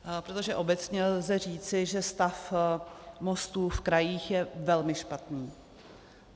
Protože obecně lze říci, že stav mostů v krajích je velmi špatný.